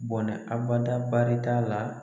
Bɔnɛ abada barita la.